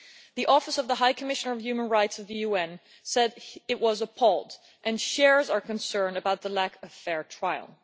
The Office of the High Commissioner for Human Rights of the UN said it was appalled, and shares our concern about the lack of a fair trial.